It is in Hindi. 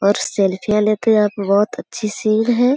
और सेल्फियां लेते आप बहुत अच्छी सीन है।